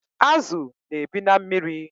Azu na-ebi na mmiri